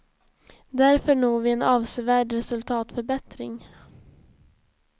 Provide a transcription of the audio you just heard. Därför når vi en avsevärd resultatförbättring.